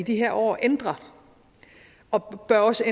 de her år ændrer og også